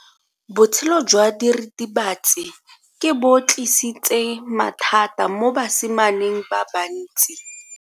Botshelo jwa diritibatsi ke bo tlisitse mathata mo basimaneng ba bantsi.